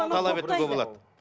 талап етуге болады